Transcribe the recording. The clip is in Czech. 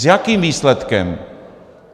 S jakým výsledkem?